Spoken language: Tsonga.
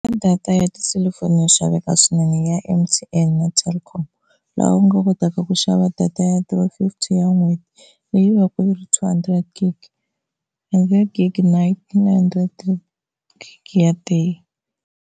Data ya tiselifoni yo xaveka swinene ya M_T_N na Telkom laha u nga kotaka ku xava data yo durha one fifty ya n'hweti leyi va ku yi ri two hundred gig hundred gig night na hundred gig ya day.